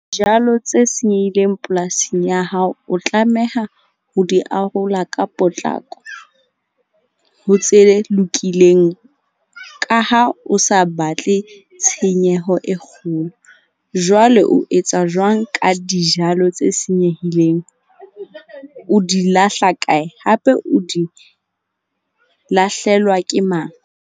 Jalo tse senyehileng polasing ya hao, o tlameha ho di arola ka potlako ho tse lokileng, ka ha o sa batle tshenyeho e kgolo. Jwale o etsa jwang ka dijalo tse senyehileng? O di lahla kae? Hape o di lahlelwa ke mang?